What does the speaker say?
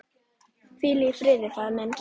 Hvíl í friði faðir minn.